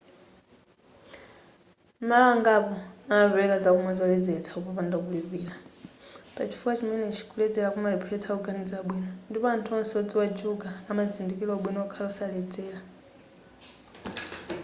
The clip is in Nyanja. malo angapo amapereka zakumwa zoledzeletsa kopanda kulipira pachifukwa chimenechi kuledzera kumalepheretsa kuganiza bwino ndipo anthu onse odziwa juga amazindikira ubwino okhala osaledzera